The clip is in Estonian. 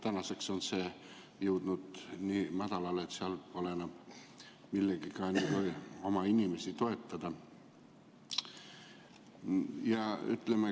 Tänaseks on see jõudnud nii madalale, et seal pole enam millegagi oma inimesi toetada.